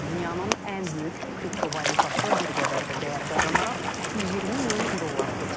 Dünyanın ən böyük kriptovalyutası bir qədər də dəyər qazanaraq 120 min dolları keçib.